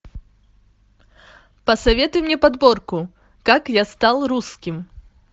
посоветуй мне подборку как я стал русским